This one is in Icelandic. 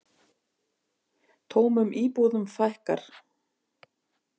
Tómum íbúðum fækkar